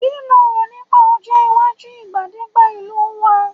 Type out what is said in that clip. ki lo ro nipa Ojo iwaju igbagede ìlú wa